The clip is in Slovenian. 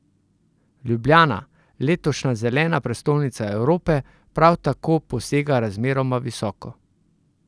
Ljubljana, letošnja zelena prestolnica Evrope, prav tako posega razmeroma visoko.